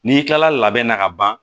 N'i kilala labɛn na ka ban